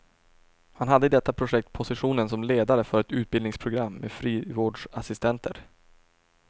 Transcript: Han hade i detta projekt positionen som ledare för ett utbildningsprogram med frivårdsassistenter.